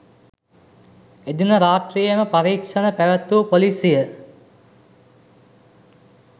එදින රාත්‍රියේම පරීක්‍ෂණ පැවැත්වූ පොලිසිය